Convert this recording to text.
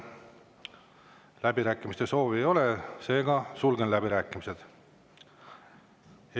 Läbirääkimiste soovi ei ole, seega sulgen läbirääkimised.